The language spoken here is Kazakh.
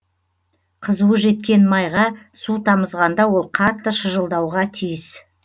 қызуы жеткен майға су тамызғанда ол қатты шыжылдауға тиіс